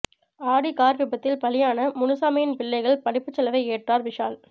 ஆடி car விபத்தில் பலியான முனுசாமியின் பிள்ளைகள் படிப்புச் செலவை ஏற்றார் விஷால்